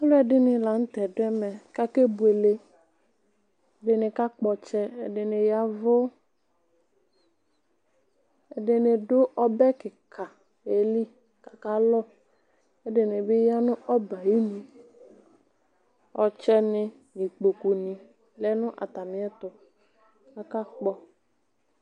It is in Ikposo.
Alʋɛdini lanʋtɛ dʋ ɛmɛ kʋ akebuele ɛdini kakpɔ ɔtsɛ ɛdini ya ɛvʋ ɛdini dʋ ɔbɛ kika yeli kʋ akalʋ ɛdini bi yanʋ ɔbɛ ayʋ inʋ ɔtsɛ ni nʋ ikpokʋ ni lɛ nʋ atami ɛtʋ kʋ akakpɔ